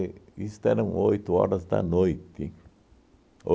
E esto eram oito horas da noite.